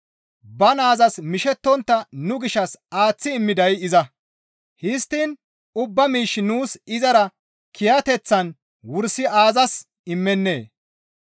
Ba naazas mishettontta nu gishshas aaththi immiday iza; histtiin ubba miish nuus izara kiyateththan wursi aazas immennee?